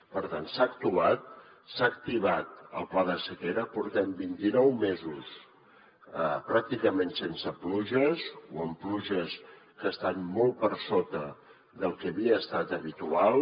per tant s’ha actuat s’ha activat el pla de sequera portem vint i nou mesos pràcticament sense pluges o amb pluges que estan molt per sota del que havia estat habitual